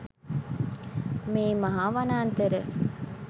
මේ මහා වනාන්තර